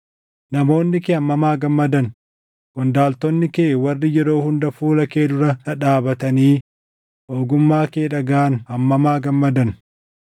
Namoonni kee hammam haa gammadan! Qondaaltonni kee warri yeroo hunda fuula kee dura dhadhaabatanii ogummaa kee dhagaʼan hammam haa gammadan!